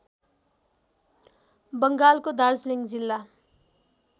बङ्गालको दार्जिलिङ जिल्ला